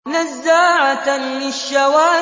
نَزَّاعَةً لِّلشَّوَىٰ